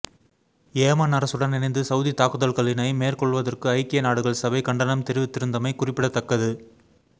Yemen அரசுடன் இணைந்து Saudi தாக்குதல்களினை மேற்கொள்வதற்கு ஐக்கிய நாடுகள் சபை கண்டனம் தெரிவித்திருந்தமை குறிப்பிடத்தக்கது